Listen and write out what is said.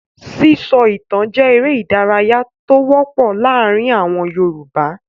Sísọ ìtan jẹ́ eré-idárayá tó wọ́pọ̀ láàárin àwọn Yorùbá.